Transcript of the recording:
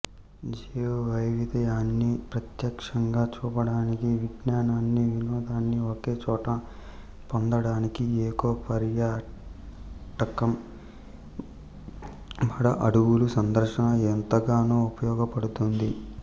జీవవైవిధ్యాన్ని ప్రత్యక్షంగా చూపడానికి విజ్ఞానాన్నీ వినోదాన్నీ ఒకే చోట పొందడానికి ఎకో పర్యాటకం మడ అడవుల సందర్శన ఎంతగానో ఉపయోగపడుతుంది